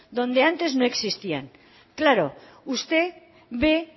donde antes no existían claro usted ve